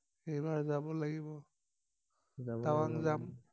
এইবাৰ কব লাগিব যাব লাগিব টাৱাং যাম